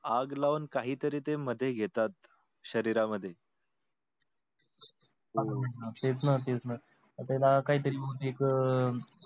आग लावून काही तरी ते मध्ये घेतात शरीरामध्ये हम्म तेच ना, तेच ना ते ना काही तरी म्हणजे एक